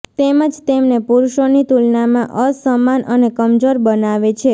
તેમજ તેમને પુરુષોની તુલનામાં અસમાન અને કમજોર બનાવે છે